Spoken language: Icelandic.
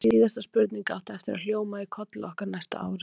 Þessi síðasta spurning átti eftir að hljóma í kolli okkar næstu árin.